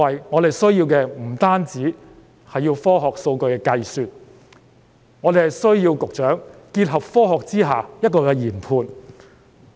我們需要的，不單是科學及數據的計算，更需要局長結合科學作出研判。